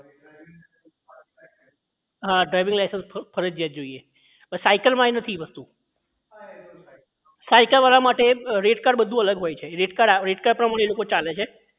driving licence ફરજિયાત જોઈએ અવે સાયકલ માં નથી એ વસ્તુ સાયકલ વાળા માટે rate card બધું અલગ હોય છે rate card એ rate card પ્રમાણે એ લોકો ચાલે છે